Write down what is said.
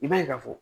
I b'a ye ka fɔ